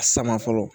A sama fɔlɔ